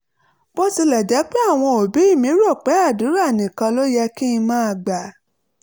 bó tilẹ̀ jẹ́ pé àwọn òbí mi rò pé àdúrà nìkan ló yẹ kí n máa gbà